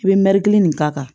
I bɛ mɛɛrikili nin k'a kan